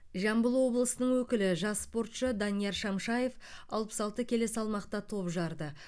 жамбыл облысының өкілі жас спортшы данияр шамшаев алпыс алты келі салмақта топ жарды